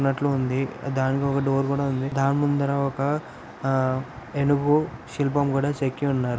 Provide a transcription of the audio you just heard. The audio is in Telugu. వునట్లు ఉంది దానికి ఒక డోర్ కూడా ఉంది. దాని ముందర ఒక ఆ ఏనుగు శిల్పం కూడా చెక్కి ఉన్నారు .